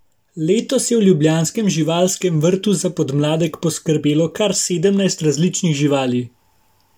Letos je v ljubljanskem živalskem vrtu za podmladek poskrbelo kar sedemnajst različnih živali.